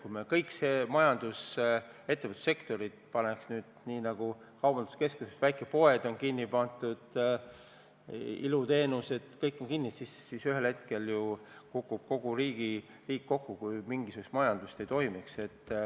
Kui me kõik majandussektorid, ettevõtlussektorid kinni paneks, nagu kaubanduskeskustes väikepoed on kinni pandud ja ilusalongid on suletud, siis ühel hetkel kukuks ju riik kokku, kui mingisugust majandustegevust ei toimuks.